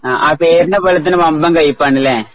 ആ പേരിനെ പോലെതന്നെ വമ്പൻ കൈപ്പാണല്ലേ.